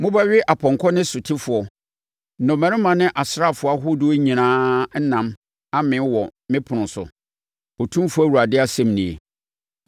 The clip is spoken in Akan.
Mobɛwe apɔnkɔ ne sotefoɔ, nnɔmmarima ne asraafoɔ ahodoɔ nyinaa ɛnam amee wɔ me ɛpono so,’ Otumfoɔ Awurade asɛm nie.